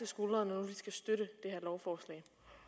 skuldre når nu de skal støtte det her lovforslag